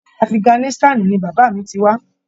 Afiganisitani ní bàbá mí tí wá.